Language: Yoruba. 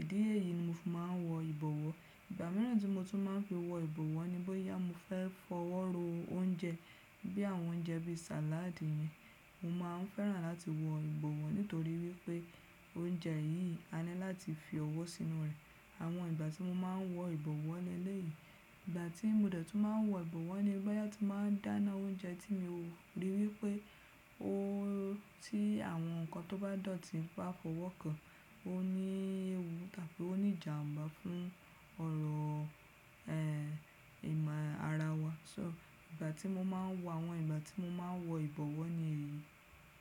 Ìdí èyí ni mo fi máa n wọ ìbọwọ́. Ìgbà míràn tí mo tún máa n fi wọ ìbọwọ́ ni bóyá mo fẹ́ fọwọ́ ro oúnjẹ, bí àwọn oúnjẹ bí sàládì yẹn, mo máa ń fẹ́ràn láti wọ ìbọwọ́ nítorí wípé oúnjẹ yìí á ní láti fi ọwọ́ sínú rẹ̀. Àwọn ìgbà tí mo máa n wọ ìbọwọ́ leley. Ìgbà tí mo dẹ̀ tún máa n wọ ìbọwọ́ ni bóyá tí n máa dáná oúnjẹ tí mo rí wípé ó ti àwọn ǹkan tó bá dọ̀tí ń bá fọwọ́ kan, ó ní ewu tàbí ó ní ìjàmbá fún ọrọ̀ ẹ̀ ìmọ̀ ara wa. So ìgbà tí mo máa n wọ àwọn ìgbà tí mo máa n wọ ìbọwọ́ ni èyí.